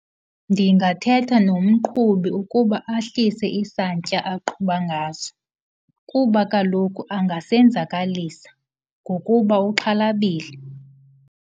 Ndingathetha nomqhubi ukuba ahlise isantya aqhuba ngaso kuba kaloku angasenzakalisa ngokuba uxhalabile.